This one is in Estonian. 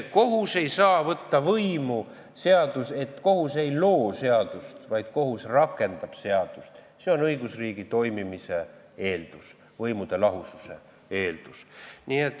Kohus ei saa võtta võimu, kohus ei loo seadust, vaid kohus rakendab seadust, see on õigusriigi toimimise eeldus, võimude lahususe eeldus.